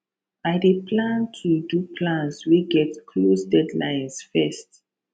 i dey plan to do plans wey get close deadlines first